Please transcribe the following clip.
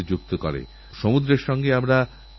আগামীদিনগুলিতে বিভিন্ন জায়গায় মেলার আয়োজন হবে